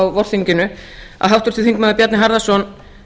á vorþinginu að háttvirtur þingmaður bjarni harðarson